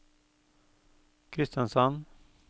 Kristiansand